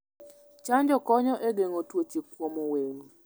chanjo konyo e geng'o tuoche kuom winy.